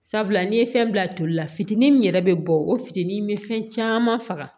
Sabula n'i ye fɛn bila toli la fitinin min yɛrɛ bɛ bɔ o fitini bɛ fɛn caman faga